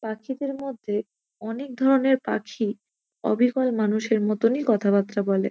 পাখিদের মধ্যে অনেক ধরনের পাখি অবিকল মানুষের মতোনই কথাবার্তা বলে।